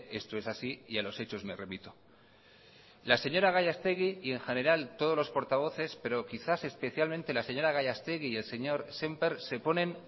esto es así y a los hechos me remito la señora gallastegui y en general todos los portavoces pero quizás especialmente la señora gallastegui y el señor sémper se ponen